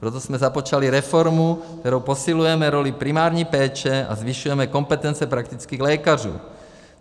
Proto jsme započali reformu, kterou posilujeme roli primární péče a zvyšujeme kompetence praktických lékařů.